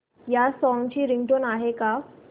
या सॉन्ग ची रिंगटोन आहे का